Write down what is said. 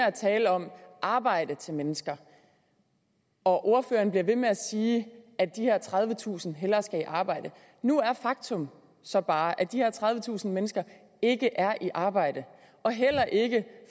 at tale om arbejde til mennesker og ordføreren bliver ved med at sige at de her tredivetusind hellere skal i arbejde nu er faktum så bare at de her tredivetusind mennesker ikke er i arbejde og heller ikke